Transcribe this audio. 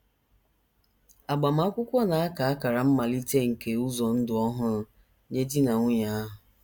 Agbamakwụkwọ na - aka akara mmalite nke ụzọ ndụ ọhụrụ nye di na nwunye ahụ.